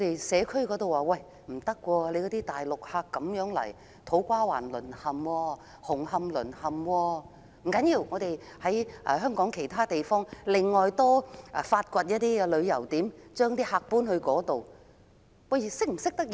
社區方面，大量的內地遊客令土瓜灣、紅磡淪陷，政府竟提出在香港發掘其他旅遊點，把遊客轉移至其他地區。